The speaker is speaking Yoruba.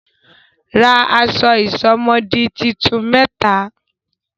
Ra aṣọ ìsomọ́ọ̀dí tuntun mẹ́ta!